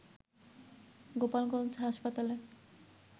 গোপালগঞ্জ হাসপাতালে